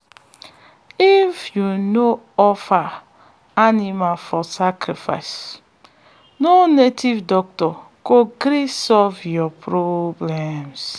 if u no offer animal for sacrifice no native doctor go gree solve your problems.